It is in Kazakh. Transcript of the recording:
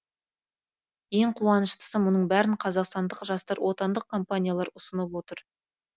ең қуаныштысы мұның бәрін қазақстандық жастар отандық компаниялар ұсынып отыр